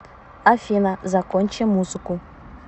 афина закончи музыку